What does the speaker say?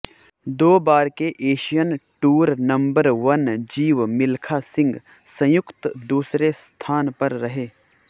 दो बार के Asian Tour number one Jeev Milkha Singh संयुक्त दूसरे स्थान पर रहे